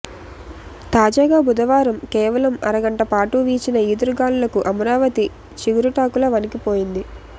తాజాగా బుధవారం కేవలం అరగంటపాటు వీచిన ఈదురుగాలులకు అమరావతి చిగురుటాకులా వణికిపోయింది